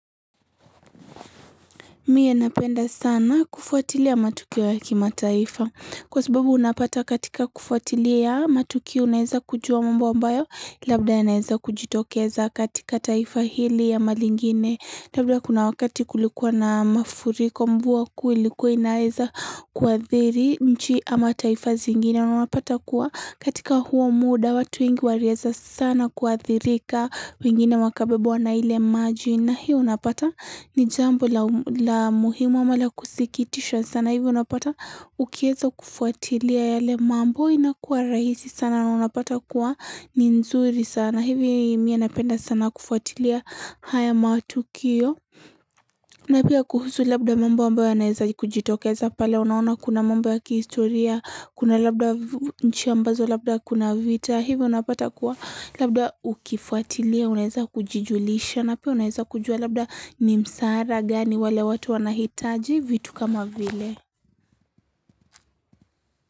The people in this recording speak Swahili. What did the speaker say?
Mie napenda sana kufuatilia matukiwa ya kima taifa. Kwa sababu unapata katika kufuatilia ya matukio unaeza kujua mambo ambayo labda yaenaeza kujitokeza katika taifa hili ama lingine. Labla kuna wakati kulikuwa na mafuriko mvua kui likuwa inaeza kwa thiri nchi ama taifa zingine. Unapata kuwa katika huo muda watu wengi wariaza sana kwa thirika wengine makabebo wanaile maju na hiyo unapata ni jambo la muhimu ama la kusikitishwa sana hivyo unapata ukiezo kufuatilia yale mambo inakua rahisi sana na unapata kuwa nzuri sana hivyo mienapenda sana kufuatilia haya matukio na pia kuhusu labda mambo ambayo anayezaji kujitokeza pale unaona kuna mambo ya kihistoria, kuna labda nchi ambazo, labda kuna vita Hivyo unapata kuwa labda ukifuatilia, unaheza kujujulisha na pia unaheza kujua labda nimsaara gani wale watu wanahitaji vitu kama vile.